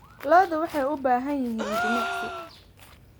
Lo'du waxay u baahan yihiin jimicsi.